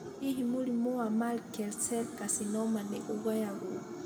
Hihi mũrimũ wa Merkel cell carcinoma nĩ ũgayagũo?